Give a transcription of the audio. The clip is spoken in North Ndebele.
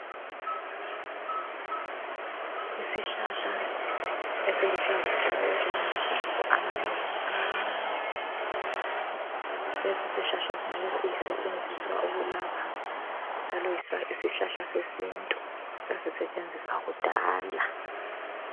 Isihlahla esiluhlaza tshoko esilamahlamvu amanengi amancane. Lesisihlahla singabe sisetshenziswa ukulapha njalo yisihlahla sesintu sasisetshenziswa kudala.